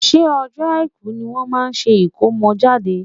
ṣé ọjọ́ Àìkú ní wọ́n máa ṣe ìkómọjáde?